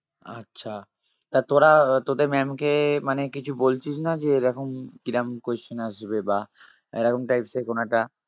আচ্ছা তা তোরা আহ তোদের maam কে মানে কিছু বলছিস না? যে এরকম কিরম question আসবে বা এরকম types এর কোন একটা